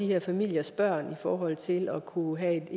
her familiers børn i forhold til at kunne have